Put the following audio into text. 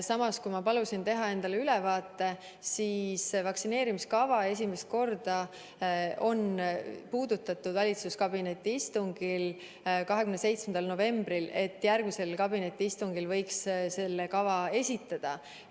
Aga kui ma palusin teha endale ülevaate, siis selgus, et vaktsineerimiskava on esimest korda valitsuskabineti istungil puudutatud 27. novembril, kui öeldi, et järgmisel kabinetiistungil võiks selle kava esitada.